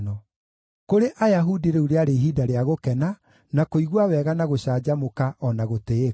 Kũrĩ Ayahudi rĩu rĩarĩ ihinda rĩa gũkena, na kũigua wega na gũcanjamũka o na gũtĩĩka.